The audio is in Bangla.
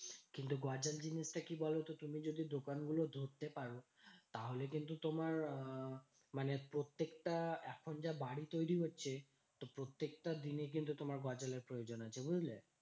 কিন্তু গজাল জিনিসটা কি বলতো? তুমি যদি দোকানগুলো ধরতে পারো? তাহলে কিন্তু তোমার আহ মানে প্রত্যেকটা এখন যা বাড়ি তৈরী হচ্ছে। তো প্রত্যেকটা দিনে কিন্তু তোমার গজালের প্রয়োজন আছে বুঝলে?